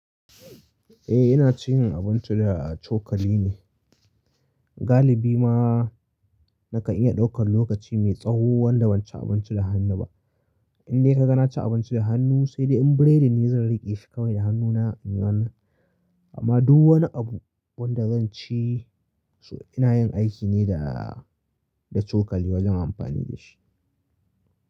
Eh ina cin abinci da cokali ne. Galibi ma nakan iya daukar lokaci mai tsawo wanda ban ci abinci da hannu ba. In dai ka ga na ci abinci da hannu sai dai in bure da ni zan riƙe shi kawai da hannuna a yawan. Amma duk wani abu wanda zan ci su ina yin aiki ne da, da cokali wajen amfani da shi.